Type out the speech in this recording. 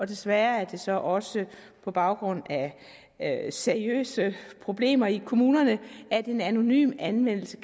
desværre er det så også på baggrund af seriøse problemer i kommunerne at en anonym anmeldelse